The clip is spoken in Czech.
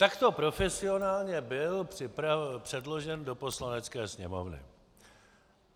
A takto profesionálně byl předložen do Poslanecké sněmovny.